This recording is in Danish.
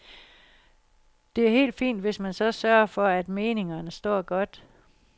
Det er helt fint, hvis man så sørger for, at meningerne står godt.